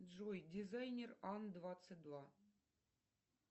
джой дизайнер ан двадцать два